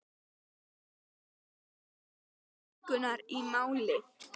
Hann er enn að reikna út líkurnar í máli